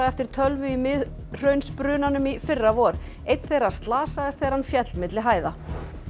eftir tölvu í Miðhraunsbrunanum í fyrravor einn þeirra slasaðist þegar hann féll milli hæða